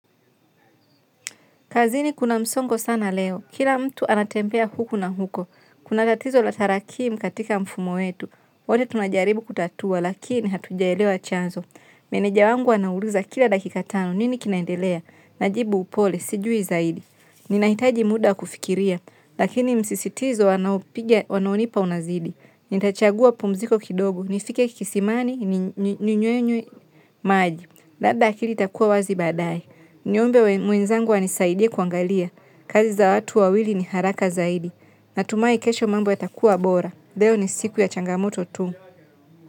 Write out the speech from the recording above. Kazini kuna msongo sana leo. Kila mtu anatembea huku na huko. Kuna tatizo la tarakimu katika mfumo wetu. Wote tunajaribu kutatua lakini hatujaelewa chanzo. Meneja wangu anauliza kila dakika tano nini kinaendelea, najibu upole sijui zaidi. Ninahitaji muda kufikiria lakini msisitizo wanaopiga wanaonipa unazidi. Nitachagua pumziko kidogo. Nifike kisimani ninywe nye maji. Labda akili itakua wazi baadae. Niombe mwenzangu anisaidie kuangalia kazi za watu wawili ni haraka zaidi. Natumai kesho mambo yatakua bora leo ni siku ya changamoto tu.